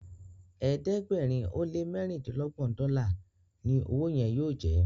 ẹ̀ẹ́dẹ̀gbẹ̀rin o le ní mérindinlogbon dòla ní ọwọ yen yóò jẹ.